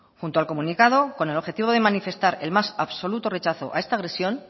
junto al comunicado con el objetivo de manifestar el más absoluto rechazo a esta agresión